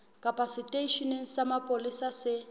kapa seteisheneng sa mapolesa se